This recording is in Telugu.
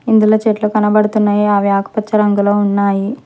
ఇందులో చెట్లు కనబడుతున్నాయి అవి ఆకుపచ్చ రంగులో ఉన్నాయి.